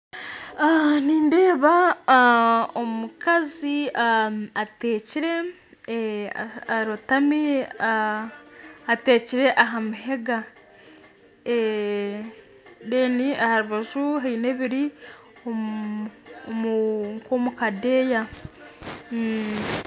Aha nindeeba omukazi ateekire arotami ateekire aha mahega aha rubaju haine ebiri omu nk'omu kadeeya